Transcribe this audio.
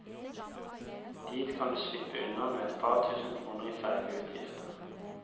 Dit kan du slippe unna med et par tusen kroner i fergeutgifter.